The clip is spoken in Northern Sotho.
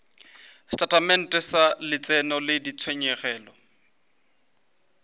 setatamente sa letseno le ditshenyegelo